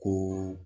Ko